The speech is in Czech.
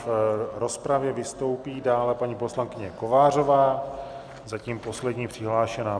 V rozpravě vystoupí dále paní poslankyně Kovářová, zatím poslední přihlášená.